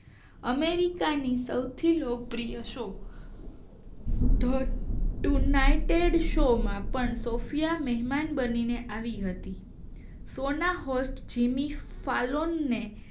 અમેરિકાની સૌથી લોકપ્રિય શો યુનાઇટેડ શો માં પણ સૉફયા મહેમાન બનીને આવી હતી સોના હાસ્ય જેની ફલોનાએ